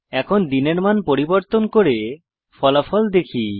এখন দিনের মান পরিবর্তন করে ফলাফল দেখি